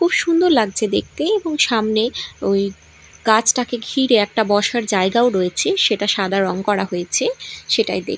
খুব সুন্দর লাগছে দেখতে এবং সামনে ওই গাছটাকে ঘিরে একটা বসার জায়গাও রয়েছে সেটা সাদা রং করা হয়েছে সেটাই দেখ--